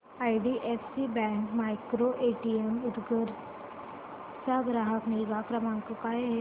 IDFC bank micro ATM Udgir चा ग्राहक निगा क्रमांक काय आहे सांगा